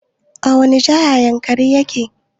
A wani jiha yankari yake?